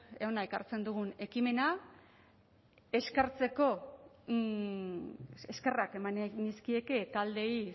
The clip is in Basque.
hona ekartzen dugun ekimena eskerrak eman nahi nizkieke taldeei